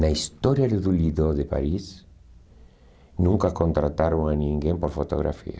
Na história de do Lido de Paris, nunca contrataram a ninguém por fotografia.